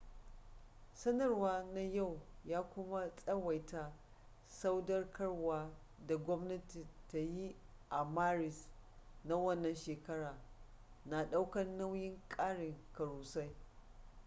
sanarwa na yau ya kuma tsawaita sadaukarwa da gwamnati ta yi a maris na wannan shekara na daukan nayin karin karusai